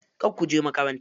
Kar kuje makaranta.